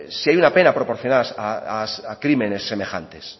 si hay una pena proporcional a crímenes semejantes